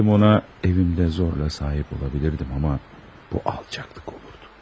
İstəsəydim ona evimdə zorla sahib ola bilərdim amma bu alçaqlıq olardı.